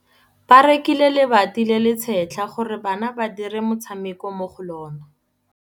Ba rekile lebati le le setlha gore bana ba dire motshameko mo go lona.